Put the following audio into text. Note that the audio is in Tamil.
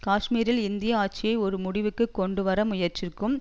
காஷ்மீரில் இந்திய ஆட்சியை ஒரு முடிவுக்கு கொண்டுவர முயற்சிக்கும்